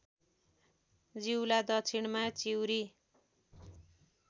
जिउला दक्षिणमा चिउरी